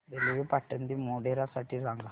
railway Patan ते मोढेरा साठी सांगा